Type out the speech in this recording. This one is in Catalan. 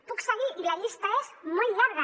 puc seguir i la llista és molt llarga